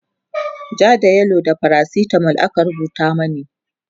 ja da yellow da faracitamol aka rubuta mani